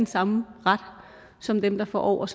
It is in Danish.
samme ret som dem der får over